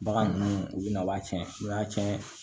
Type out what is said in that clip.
Bagan ninnu u bɛna a b'a tiɲɛ n'u y'a tiɲɛ